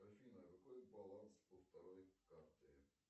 афина какой баланс у второй карты